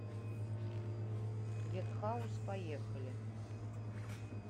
ветхаус поехали